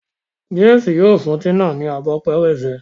James yíò fún Tina ní Abọ́ pẹrẹsẹ.